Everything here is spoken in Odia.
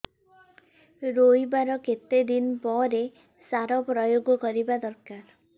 ରୋଈବା ର କେତେ ଦିନ ପରେ ସାର ପ୍ରୋୟାଗ କରିବା ଦରକାର